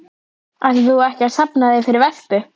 Ætlaðir þú ekki að safna þér fyrir vespu?